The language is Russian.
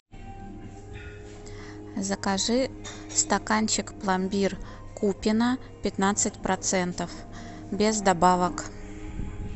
закажи стаканчик пломбир купино пятнадцать процентов без добавок